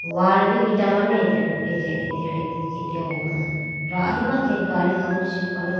Wall bi eta mane ate atene ho pum yahi ma khenge gadi khawuji chibo khaho.